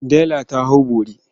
Dela ta hau bori.